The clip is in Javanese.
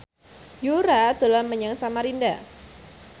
Yura dolan menyang Samarinda